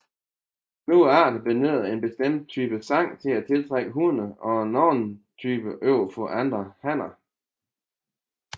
Nogle arter benytter en bestemt type sang til at tiltrække hunner og en anden type overfor andre hanner